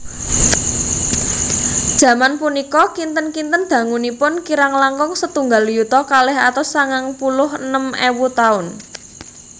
Jaman punika kinten kinten dangunipun kirang langkung setunggal yuta kalih atus sangang puluh enem ewu taun